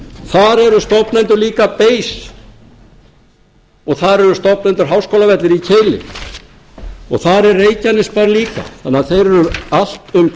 þar eru stofnendur líka bein og þar eru stofnendur háskólavellir í keili þar er reykjanesbær líka þannig að þeir eru allt um kring um borðið í